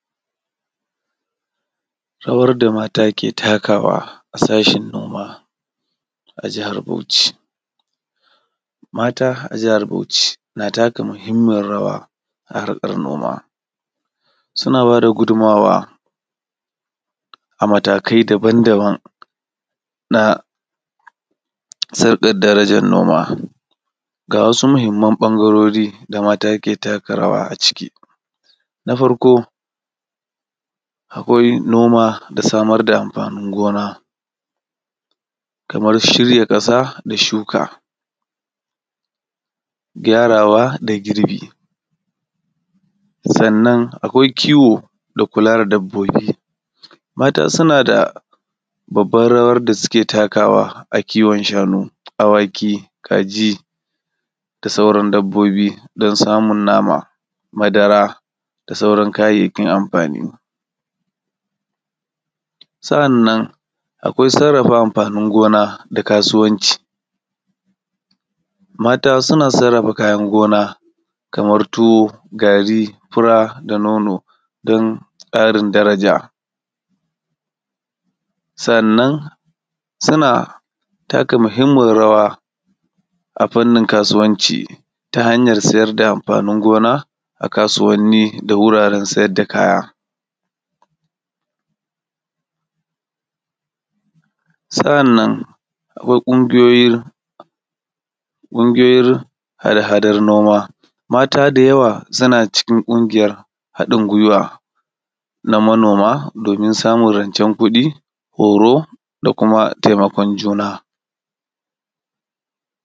Rawar da mata ke takawa a sashin noma a jihar bauchi. Mata a jihar bauchi na taka mahimmiyar rawa a harkar noma, suna daba gudunawa a matakai daban daban sardar darajan noma. Ga wasu mahimman ɓangarori da mat ke taka rawa a ciki. Na farko akwai noma da samar da amfanin gona, kamar shirya ƙasa da shuka, gyarawa da girbi. Sannan akwai kiwo da kula sa dabbobi. Mata suna da babbar rawar da suke takawa a kiwon shanu, awaki, kaji da sauran dabbobidan samun nama, madara da sauran kayayyakin amfani.sa’annan akwai sarrafa amfanin gona da kasuwanci, mata suna sarrafa kayan gona kamar tuwo, gari, fura da nono dan ƙarin daraja. Sannan suna taka mahimmiyar rawa a fanin kasuwanci ta hanyar sayar da amafanin gona a kasuwanni da wuraren saida kaya. Sa’annan akwai ƙungiyoyin hada hadar noma mata da yawa suna cikin ƙungiyar haɗin guiwa na manoma domin samun rancen kuɗi, horo da kuma taimakon juna.